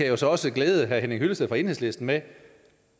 jo så også glæde herre henning hyllested fra enhedslisten med